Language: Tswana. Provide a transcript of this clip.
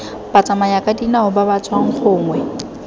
batsamayakadinao ba ba tswang gongwe